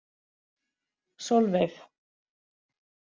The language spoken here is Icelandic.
Solveig